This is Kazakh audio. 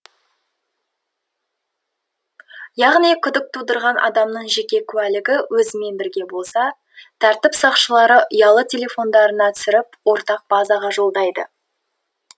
яғни күдік тудырған адамның жеке куәлігі өзімен бірге болса тәртіп сақшылары ұялы телефондарына түсіріп ортақ базаға жолдайды